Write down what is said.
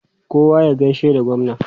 Kowa ya gaishe da gwamna!